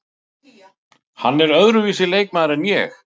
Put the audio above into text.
Hann er öðruvísi leikmaður en ég.